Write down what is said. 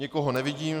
Nikoho nevidím.